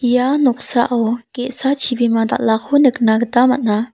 ia noksao ge·sa chibima dal·ako nikna gita man·a.